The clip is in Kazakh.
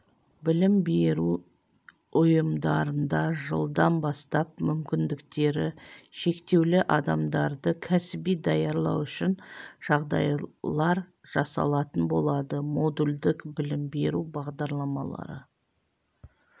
білім беру ұйымдарында жылдан бастап мүмкіндіктері шектеулі адамдарды кәсіби даярлау үшін жағдайлар жасалатын болады модульдік білім беру бағдарламалары